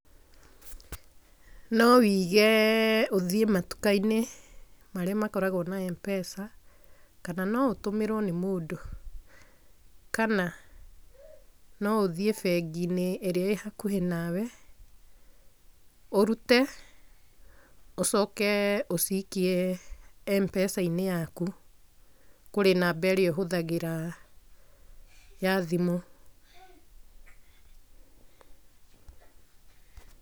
No ũige ũthiĩ matuka-inĩ marĩa makoragwo na Mpesa, kana no ũtũmĩrwo nĩ mũndũ, kana no ũthiĩ bengi-inĩ ĩrĩa ĩĩ hakũhĩ na we ũrute ũcoke ũcikie Mpesa-inĩ yaku kurĩ namba ĩrĩa ũhũthagĩra ya thimũ.